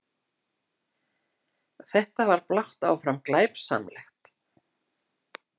Þetta var blátt áfram glæpsamlegt!